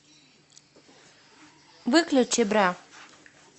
выключи бра